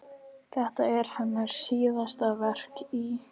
Þetta er hennar síðasta verk í